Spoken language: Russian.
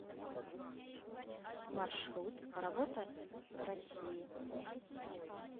маршрут работа россии